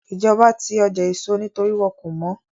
Ìjọba ti ọjà èso nítorí wọ́n kò mọ́